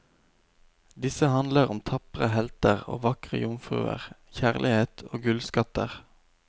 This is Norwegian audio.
Disse handler om tapre helter og vakre jomfruer, kjærlighet, og gullskatter.